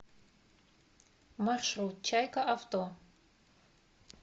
маршрут чайка авто